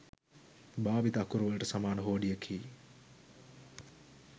භාවිත අකුරුවලට සමාන හෝඩියකි.